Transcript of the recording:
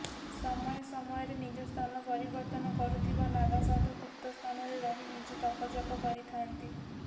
ସମୟ ସମୟରେ ନିଜ ସ୍ଥାନ ପରିବର୍ତ୍ତନ କରୁଥିବା ନାଗାସାଧୂ ଗୁପ୍ତ ସ୍ଥାନରେ ରହି ନିଜ ତପଜପ କରିଥାନ୍ତି